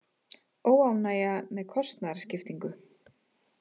Óánægja með kostnaðarskiptingu